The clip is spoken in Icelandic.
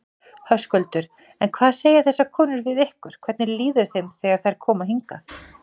Höskuldur: En hvað segja þessar konur við ykkur, hvernig líður þeim þegar þær koma hingað?